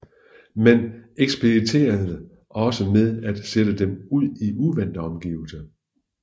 Man eksperimenterede også med at sætte dem ud i uvante omgivelser